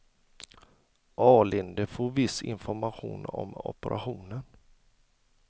Alinde får viss information om operationen.